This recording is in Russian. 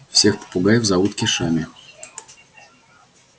всех попугаев зовут кешами